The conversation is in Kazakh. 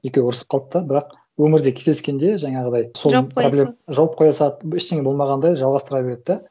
екеуі ұрысып қалды да бірақ өмірде кездескенде жаңағыдай сол проблеманы жауып қоя салды жауып қоя салады ештеңе болмағандай жалғастыра береді да